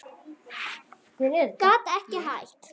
Gat ekki hætt.